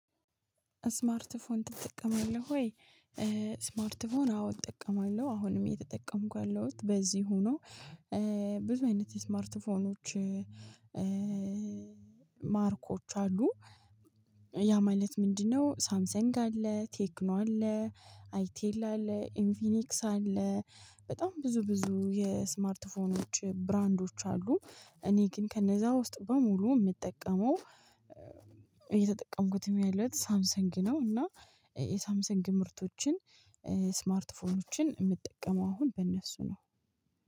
ስማርት ፎን ትጠቀማለህ ወይ? ስማርት ፎን አዎ እጠቀማለሁ አሁንም የተጠቀምኩ ያለሁት በዚህ ሆኖ። ብዙ አይነት የስማርትፎኖች። ማርኮች አሉ ያ ማለት ምንድነው? ሳምሰንግ አለ ቴክኖ አለ አይቴል አለ ኢንፊኒክስ አለ በጣም ብዙ ብዙ የስማርት ፎኖች ብራንዶች አሉ። እኔ ግን ከነዛ ውስጥ በሙሉ የምጠቀመው እየተጠቀምኩትም ያለሁት ሳምሰንግ ነው። እና የሳምሰንግ ምርቶችን ስማርትፎኖችን የምትጠቀመው አሁን በእነሱ ነው?